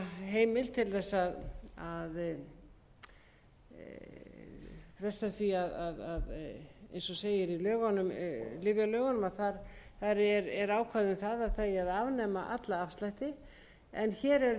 heimila bann við afslætti í smásölu í lyfjalögum er ákvæði um að afnema eigi allan afslátt en hér er